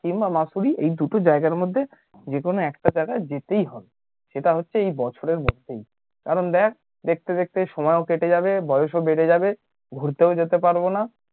কিংবা মসুরি এই দুটো জায়গার মধ্যে যেকোনো একটা জায়গা যেতেই হবে সেটা হচ্ছে এই বছরের মধ্যেই কারণ দেখ দেখতে দেখতে সময় ও কেটে যাবে বয়স ও বেড়ে যাবে ঘুরতেও যেতে পারবো না